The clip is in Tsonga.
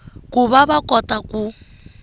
ku va va kota ku